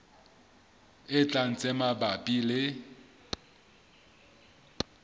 e tlang tse mabapi le